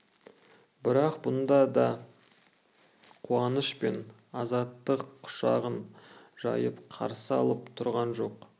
бірақ бұнда да қуаныш пен азаттық құшағын жайып қарсы алып тұрған жоқ